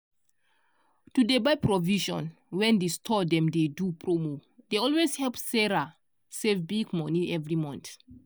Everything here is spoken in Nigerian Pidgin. to dey buy provision wen di store dem dey do promo dey always help sarah save big money every month